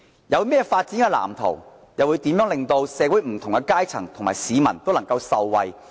有何發展藍圖，又如何令社會不同階層的市民受惠？